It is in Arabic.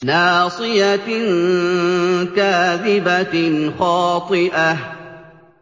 نَاصِيَةٍ كَاذِبَةٍ خَاطِئَةٍ